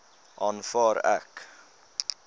aanvaar ek